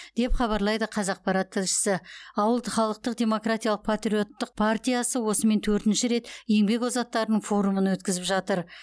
деп хабарлайды қазақпарат тілшісі ауыл халықтық демократиялық патриоттық партиясы осымен төртінші рет еңбек озаттарының форумын өткізіп жатыр